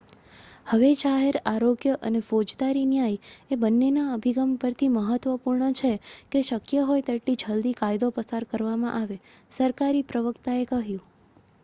"""હવે જાહેર આરોગ્ય અને ફોજદારી ન્યાય એ બન્નેના અભિગમ પરથી મહત્ત્વપૂર્ણ છે કે શક્ય હોય એટલી જલદી કાયદો પસાર કરવામાં આવે," સરકારી પ્રવક્તાએ કહ્યું.